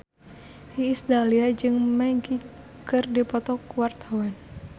Iis Dahlia jeung Magic keur dipoto ku wartawan